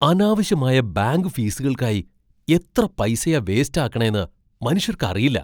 അനാവശ്യമായ ബാങ്ക് ഫീസുകൾക്കായി എത്ര പൈസയാ വേസ്റ്റ് ആക്കണേന്ന് മനുഷ്യർക്ക് അറിയില്ല..